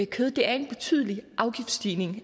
kød er en betydelig afgiftsstigning